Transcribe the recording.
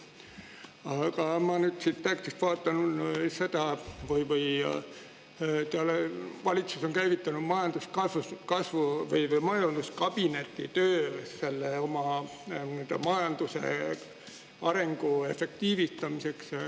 Aga ma vaatan siit tekstist, et valitsus on käivitanud majanduskabineti töö meie majanduse arengu efektiivistamiseks.